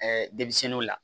denmisɛnninw la